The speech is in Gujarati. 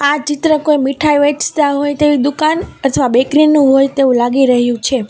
આ ચિત્ર કોઈ મીઠાઈ વેચતા હોય તેવી દુકાન અથવા બેકરી નું હોય તેવું લાગી રહ્યું છે.